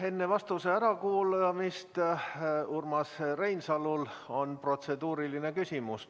Enne vastuse kuulamist on Urmas Reinsalul protseduuriline küsimus.